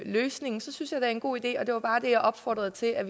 løsningen synes jeg det er en god idé og det var bare det jeg opfordrede til at